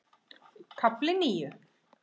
KAFLI NÍU